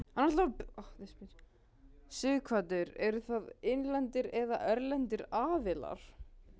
Sighvatur: Eru það innlendir eða erlendir aðilar?